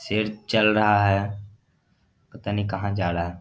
शेर चल रहा है पता नही कहां जा रहा है।